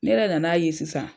Ne yɛrɛ nana ye sisan.